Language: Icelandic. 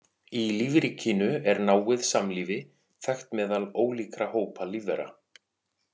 Í lífríkinu er náið samlífi þekkt meðal ólíkra hópa lífvera.